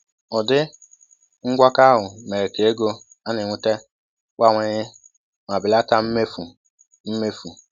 Ụdị ngwakọ ahụ mere ka ego a na-enweta bawanye ma belata mmefu. mmefu.